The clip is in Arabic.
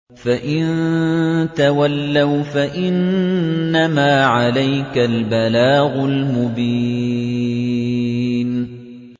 فَإِن تَوَلَّوْا فَإِنَّمَا عَلَيْكَ الْبَلَاغُ الْمُبِينُ